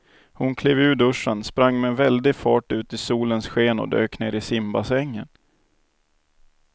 Hon klev ur duschen, sprang med väldig fart ut i solens sken och dök ner i simbassängen.